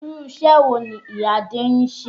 Irú iṣẹ́ wo ni ìyá Adé ń ṣe?